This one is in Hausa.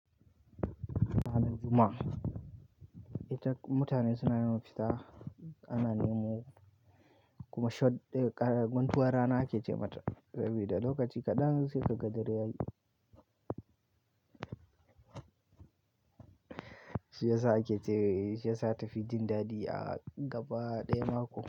Ranar Juma'a, ita mutane suna yawan fita ana nemo kuma shadda ƙara guntuwar rana ake ce mata, saboda lokaci kaɗan sai ka ga dare yayi. Shi yasa ake je shi yasa ta fi jin daɗi a gaba ɗaya mako.